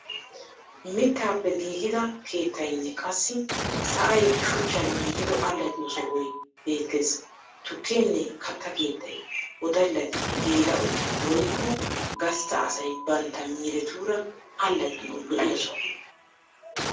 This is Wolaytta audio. Mittappe giigida keettayinne qassi sa'ay Shuchchan giigido allaxxiyo sohoy beettes. Tukkenne katta keettay wodallati, geela'oti woykko gastta asay bantta miiretuura allaxxanawu lo'iya Soho.